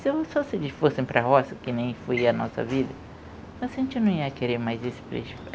só se eles fossem para a roça, que nem foi a nossa vida, mas a gente não ia querer mais isso para eles